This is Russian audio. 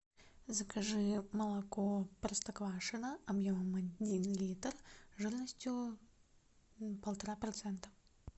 закажи молоко простоквашино объемом один литр жирностью полтора процента